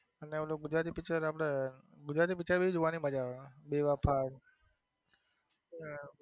અને ઓલું ગુજરાતી picture આપડે ગુજરાતી picture પણ જોવાની મજા આવે બેવફા.